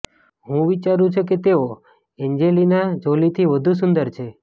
હુ વિચારુ છુ કે તેઓ એંજેલિના જોલીથી વધુ સુંદર છે